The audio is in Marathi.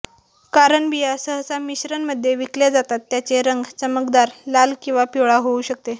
कारण बिया सहसा मिश्रण मध्ये विकल्या जातात त्यांचे रंग चमकदार लाल किंवा पिवळा होऊ शकते